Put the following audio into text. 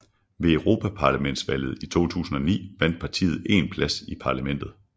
Ved Europaparlamentsvalget i 2009 vandt partiet 1 plads i parlamentet